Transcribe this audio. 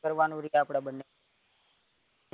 કરવાનું રે આપડે બંને ને